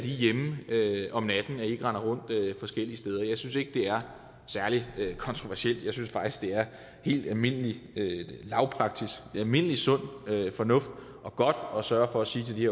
hjemme om natten og ikke render rundt forskellige steder jeg synes ikke det er særlig kontroversielt jeg synes faktisk det er helt almindelig almindelig sund fornuft og godt at sørge for at sige til de